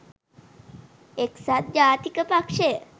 එක්සත් ජාතික පක්‍ෂය